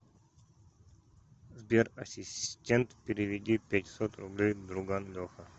сбер ассистент переведи пятьсот рублей друган леха